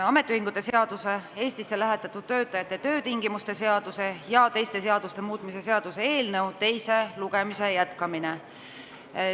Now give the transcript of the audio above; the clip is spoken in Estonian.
Ametiühingute seaduse, Eestisse lähetatud töötajate töötingimuste seaduse ja teiste seaduste muutmise seaduse eelnõu teise lugemise jätkamine.